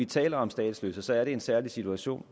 taler om statsløse så er en særlig situation